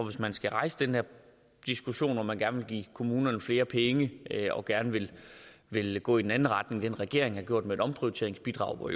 hvis man skal rejse den diskussion om man gerne vil give kommunerne flere penge og gerne vil vil gå i en anden retning end regeringen har gjort med et omprioriteringsbidrag hvor